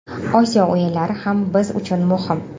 Osiyo o‘yinlari ham biz uchun muhim.